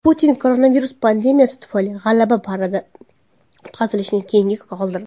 Putin koronavirus pandemiyasi tufayli G‘alaba paradi o‘tkazilishini keyinga qoldirdi.